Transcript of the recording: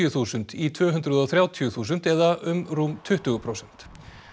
þúsund í tvö hundruð og þrjátíu þúsund eða um rúm tuttugu prósent